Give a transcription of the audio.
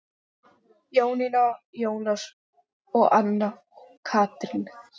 Jónína, Jónas og Anna Katrín.